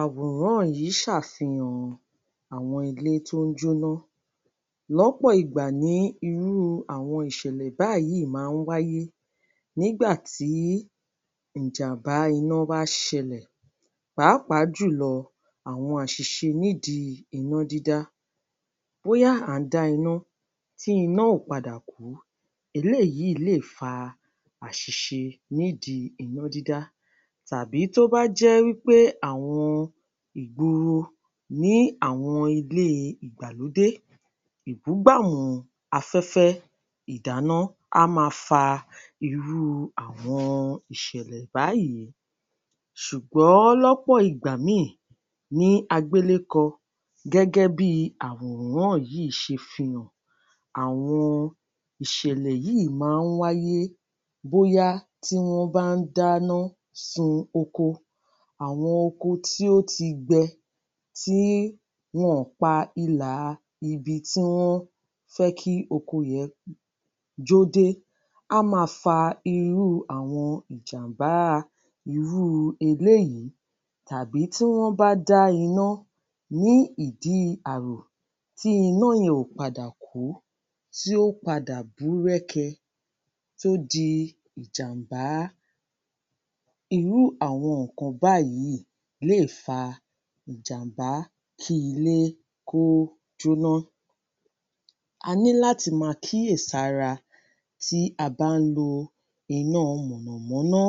Àwòrán yìí ṣàfihàn àwọn ilé tí ó jóná, lọ́pọ̀ ìgbà ní irú àwọn ìṣẹ̀lẹ̀ báyìí má ń wáyé nígbàtí ìjàmbá iná bá ṣẹlẹ̀ pàápàá jùlọ àwọn àṣìṣe nídìí iná dídá. Bóyá à ń dá iná tí iná ò padà kú eléyìí lè fa àṣìṣe nídìí iná dídá. Tábì tó bá jé wípé àwọn ìgboro nílé àwọn ìgbàlódé, ìbúgàmù afẹ́fẹ́ ìdáná á má fa irú àwọn ìṣẹ̀lẹ̀ báyìí ní agbélékọ gẹ́gẹ́ bí àwòrán yìí ṣe fi hàn, àwọn ìṣẹ̀lẹ̀ yìí má ń wáyé bóyá tí wọ́n bá ń dáná sun oko, àwọn oko tí ó ti gbẹ, tí wọn pa ilà ibi tí wọn fẹ́ kí oko jẹn jó dé, á má fa irú àwọn ìjàmbá irú eléyìí, tàbí tí wọ́n bá dá iná ní ìdí àrò, tí iná yẹn ò padà kú, tí ó padà bú rẹ́kẹ tó di ìjàmbá, irú àwọn nkàn báyìí lè fa ìjàmbá, kí ilé kó jóná. A ní láti má kíyẹ̀sára tí a bá ń lo iná mọ̀nàmọ́ná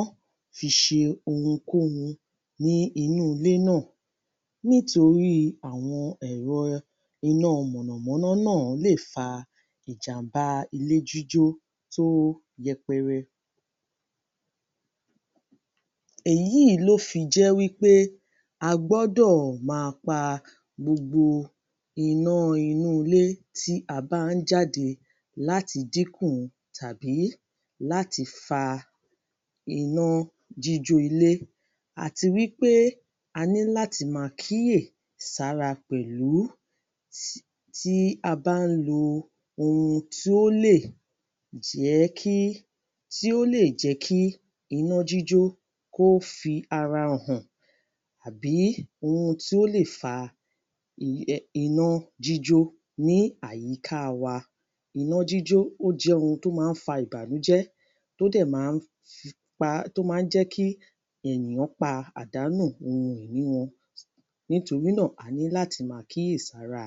fi ṣe ohun kóhun ní inú ilé náà, nítorí àwọn ẹ̀rọ iná mọ̀nàmọ́ná náà lè fa ìjàmbá ilé jíjó tó yẹpẹrẹ. Ẹ̀yí ló fi jẹ́ wípé a gbọ́dọ̀ má pa gbogbo iná inú ilé tí a bá ń jáde láti dínkù tàbí láti fa iná jíjó ilé àti wípé a ní láti má kíyẹ̀sára pẹ̀lú tí a bá ń lo ohun tí ó lè jẹ́ kí, tí ó lè jẹ́ kí iná jíjó kó fi ara hàn, àbí ohun tí ó lè fa iná jíjó. Ní àyíká wa, iná jíjó jẹ́ ohun tó má ń fa ìbànújẹ́ tó dẹ̀ má ń pa tó má ń jẹ́ kí ènìyàn pàdánù ohun ìní wọn nítorínà a ní láti má kíyèsára.